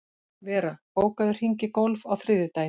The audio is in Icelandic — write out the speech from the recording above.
Vera, bókaðu hring í golf á þriðjudaginn.